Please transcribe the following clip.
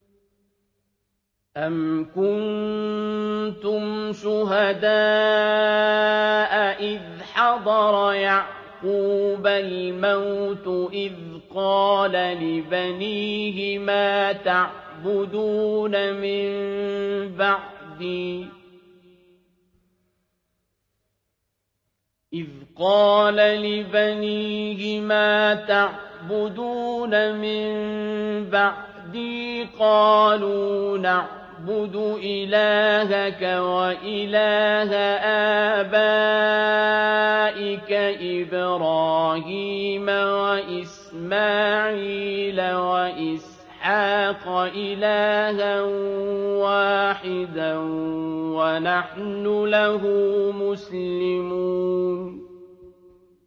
أَمْ كُنتُمْ شُهَدَاءَ إِذْ حَضَرَ يَعْقُوبَ الْمَوْتُ إِذْ قَالَ لِبَنِيهِ مَا تَعْبُدُونَ مِن بَعْدِي قَالُوا نَعْبُدُ إِلَٰهَكَ وَإِلَٰهَ آبَائِكَ إِبْرَاهِيمَ وَإِسْمَاعِيلَ وَإِسْحَاقَ إِلَٰهًا وَاحِدًا وَنَحْنُ لَهُ مُسْلِمُونَ